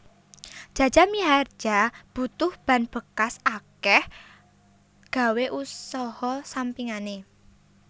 Jaja Mihardja butuh ban bekas akeh gawe usaha sampingane